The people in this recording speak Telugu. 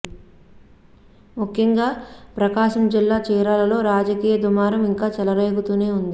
ముఖ్యంగా ప్రకాశం జిల్లా చీరాలలో రాజకీయ దుమారం ఇంకా చెలరేగుతూనే ఉంది